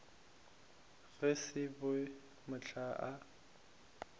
go se be mahlong a